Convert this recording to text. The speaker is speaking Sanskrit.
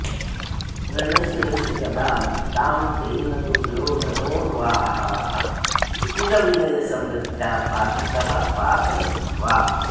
रणशिरसि गदां तां तेन दुर्योधनोर्वोः कुलविनयसमृद्ध्या पातितः पातयित्वा